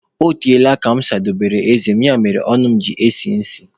Ọ teela aka mụ sadobere eze mụ, ya mere ọnụ mụ ji esi isi